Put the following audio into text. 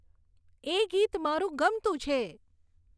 એ ગીત મારું ગમતું છે